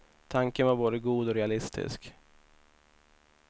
Tanken var både god och realistisk.